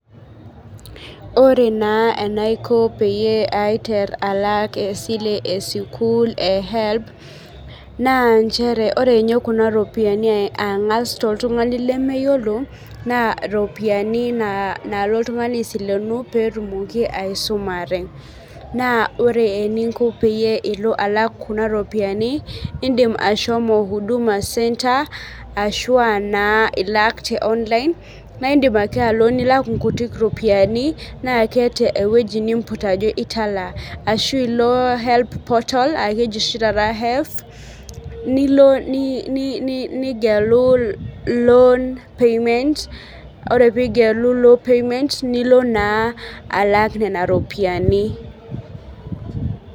Ore naa enaiko peyie aiter alak esile esukul ee HELB naa inchere ore ninye kuna ropiani ang'as toltung'ani lemeyiolo naa iropiani naalo oltung'ani aisilenu petumoki aisumare. Naa ore eninko peyie ilo alak kuna ropiani idim ashomo Huduma center ashua naa ilak tee online naiidim ake alo nilak inkutik ropiani naa keeta eweji nimput ajo italaa. Ashu ilo HELB portal aa keji oshi taata HEF nilo nigelu loan payment, ore pigelu loan payment nilo alak nena ropiani.